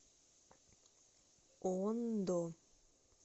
ондо